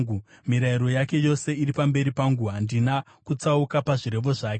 Mirayiro yake yose iri pamberi pangu; handina kutsauka pazvirevo zvake.